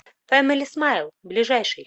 фэмили смайл ближайший